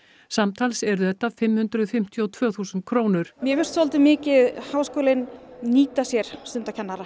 samtals eru þetta fimm hundruð fimmtíu og tvö þúsund krónur mér finnst svolítið mikið háskólinn nýta sér stundakennara